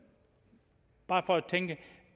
bare tænke